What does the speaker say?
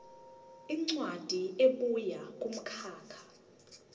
incwadi ebuya kumkhakha